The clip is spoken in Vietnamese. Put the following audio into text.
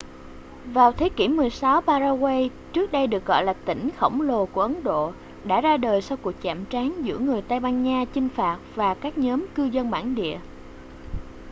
vào thế kỷ 16 paraguay trước đây được gọi là tỉnh khổng lồ của ấn độ đã ra đời sau cuộc chạm trán giữa người tây ban nha chinh phạt và các nhóm cư dân bản địa